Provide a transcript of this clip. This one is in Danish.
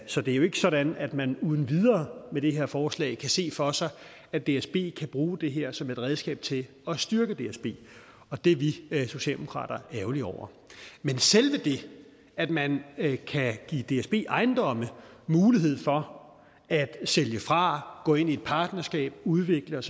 så det er jo ikke sådan at man uden videre med det her forslag kan se for sig at dsb kan bruge det her som et redskab til at styrke dsb og det er vi socialdemokrater ærgerlige over men selve det at man kan give dsb ejendomme mulighed for at sælge fra gå ind i et partnerskab udvikle